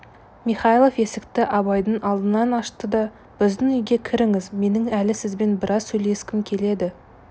михайлов есікті абайдың алдынан ашты да біздің үйге кіріңіз менің әлі сізбен біраз сөйлескім келеді